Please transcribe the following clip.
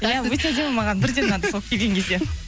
иә өте әдемі маған бірден ұнады келген кезде